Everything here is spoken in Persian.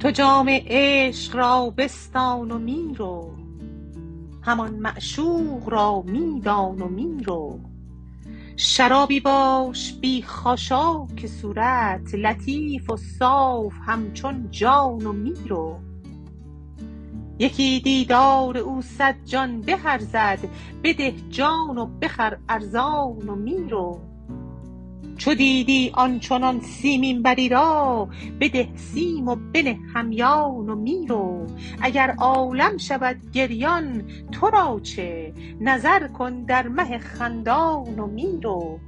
تو جام عشق را بستان و می رو همان معشوق را می دان و می رو شرابی باش بی خاشاک صورت لطیف و صاف همچون جان و می رو یکی دیدار او صد جان به ارزد بده جان و بخر ارزان و می رو چو دیدی آن چنان سیمین بری را بده سیم و بنه همیان و می رو اگر عالم شود گریان تو را چه نظر کن در مه خندان و می رو